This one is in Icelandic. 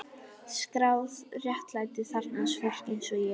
Skráð réttlæti þarfnast fólks einsog ég er.